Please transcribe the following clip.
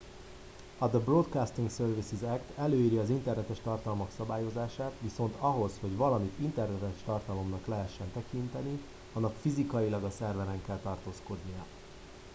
"a "the broadcasting services act" előírja az internetes tartalmak szabályozását viszont ahhoz hogy valamit internetes tartalomnak lehessen tekinteni annak fizikailag a szerveren kell tartózkodnia.